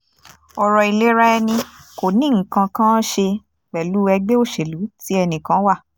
ọ̀rọ̀ ìlera ẹni kò ní nǹkan kan án ṣe pẹ̀lú ẹgbẹ́ òṣèlú tí ẹnìkan wà